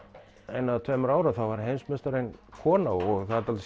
einu eða tveimur árum þá var heimsmeistarinn kona og það er dálítið